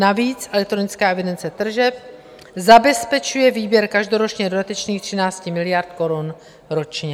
Navíc elektronická evidence tržeb zabezpečuje výběr každoročně dodatečných 13 miliard korun ročně.